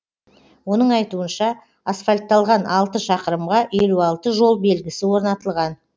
оның айтуынша асфальтталған алты шақырымға елу алты жол белгісі орнатылған